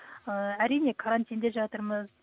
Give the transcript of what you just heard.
ы әрине карантинде жатырмыз